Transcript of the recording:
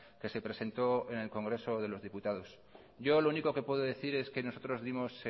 que se presentó en el congreso de los diputados yo lo único que puedo decir es que nosotros dimos